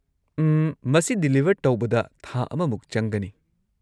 ꯎꯝ, ꯃꯁꯤ ꯗꯤꯂꯤꯚꯔ ꯇꯧꯕꯗ ꯊꯥ ꯑꯃꯃꯨꯛ ꯆꯪꯒꯅꯤ꯫